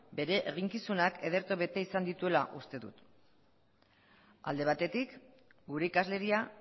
bere eginkizunak ederto bete izan dituela uste dut alde batetik gure ikasleria